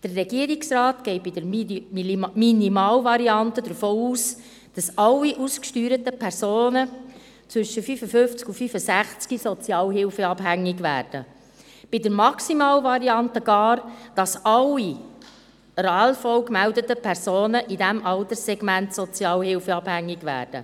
Der Regierungsrat geht bei der Minimalvariante davon aus, dass alle ausgesteuerten Personen zwischen 55 und 65 Jahren sozialhilfeabhängig werden, bei der Maximalvariante gar, dass alle bei der Arbeitslosenversicherung (ALV) gemeldeten Personen in diesem Alterssegment sozialhilfeabhängig werden.